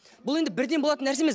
бұл енді бірден болатын нәрсе емес